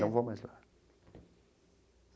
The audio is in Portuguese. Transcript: Não vou mais lá.